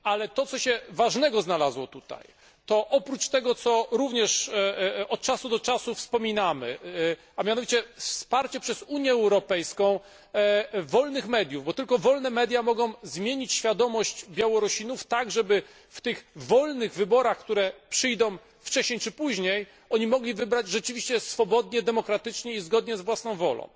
Ale to, co się ważnego znalazło tutaj, to oprócz tego, co również od czasu do czasu wspominamy, a mianowicie wsparcie przez Unię Europejską wolnych mediów, bo tylko wolne media mogą zmienić świadomość Białorusinów, tak żeby w tych wolnych wyborach, które przyjdą wcześniej czy później, oni mogli wybrać rzeczywiście swobodnie, demokratycznie i zgodnie z własną wolą.